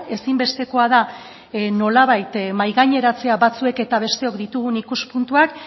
ezinbestekoa da nolabait mahaigaineratzea batzuek eta besteok ditugun ikuspuntuak